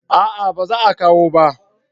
A'a ba za kawo ba